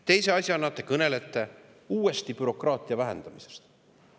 Teise asjana te kõnelete uuesti bürokraatia vähendamisest.